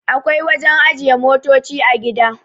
akwai wajen ajiye motoci a gida